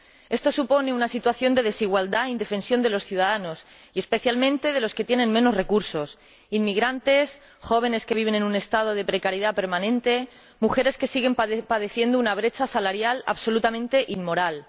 Esto supone una situación de desigualdad e indefensión de los ciudadanos, y especialmente de los que tienen menos recursos inmigrantes, jóvenes que viven en un estado de precariedad permanente y mujeres que siguen padeciendo una brecha salarial absolutamente inmoral.